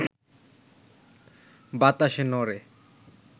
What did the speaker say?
বাতাসে নড়ে,